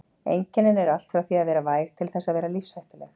Einkennin eru allt frá því að vera væg til þess að vera lífshættuleg.